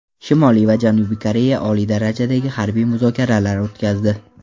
Shimoliy va Janubiy Koreya oliy darajadagi harbiy muzokaralar o‘tkazdi.